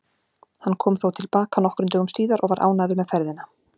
Hann kom þó til baka nokkrum dögum síðar og var ánægður með ferðina.